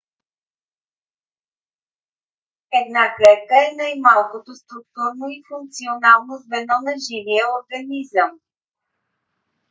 една клетка е най - малкото структурно и функционално звено на живия организъм